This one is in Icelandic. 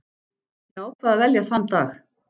Ég ákvað að velja þann dag.